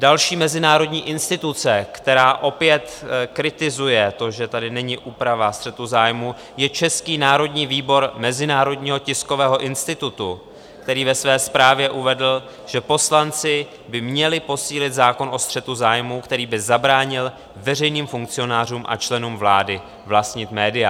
Další mezinárodní instituce, která opět kritizuje to, že tady není úprava střetu zájmů, je Český národní výbor Mezinárodního tiskového institutu, který ve své zprávě uvedl, že poslanci by měli posílit zákon o střetu zájmů, který by zabránil veřejným funkcionářům a členům vlády vlastnit média.